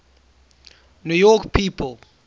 new york people